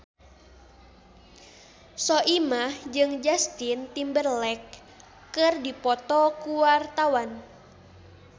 Soimah jeung Justin Timberlake keur dipoto ku wartawan